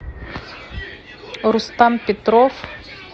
рустам петров